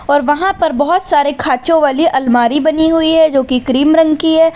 और वहां पर बहोत सारे खाचों वाली अलमारी बनी हुई है जो कि क्रीम रंग कि है।